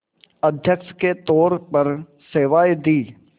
अध्यक्ष के तौर पर सेवाएं दीं